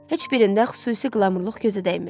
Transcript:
Heç birində xüsusi qlamurluq gözə dəymirdi.